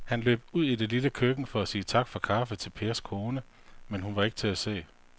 Han løb ud i det lille køkken for at sige tak for kaffe til Pers kone, men hun var ikke til at se.